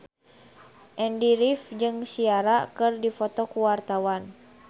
Andy rif jeung Ciara keur dipoto ku wartawan